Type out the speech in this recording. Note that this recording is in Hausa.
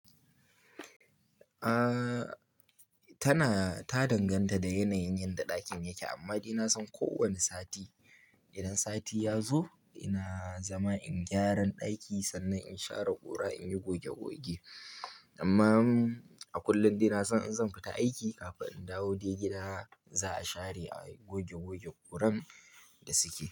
Ah, tana ta danganta da yanayin yanda ɗakin yake. Amma dai na san ko wani sati, idan sati ya zo ina zama in gyaran ɗaki sannan in share ƙura in yi goge goge. Amma a kullum dai na san in zan fita aiki kafin in dawo dai gida za a share a goge goge ƙuran da suke.